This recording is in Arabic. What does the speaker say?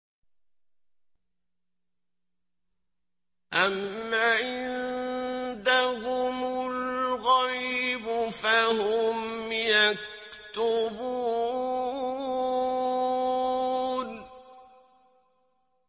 أَمْ عِندَهُمُ الْغَيْبُ فَهُمْ يَكْتُبُونَ